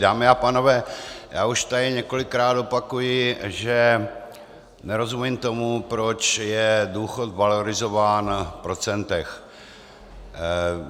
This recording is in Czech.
Dámy a pánové, já už tady několikrát opakuji, že nerozumím tomu, proč je důchod valorizován v procentech.